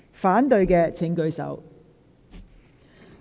反對的請舉手。